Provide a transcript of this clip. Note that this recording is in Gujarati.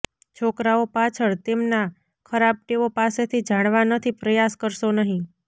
છોકરાઓ પાછળ તેમના ખરાબ ટેવો પાસેથી જાણવા નથી પ્રયાસ કરશો નહીં